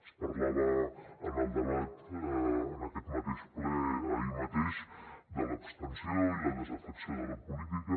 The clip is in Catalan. es parlava en el debat en aquest mateix ple ahir mateix de l’abstenció i la desafecció de la política